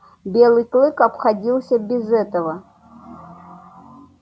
белый клык обходился без этого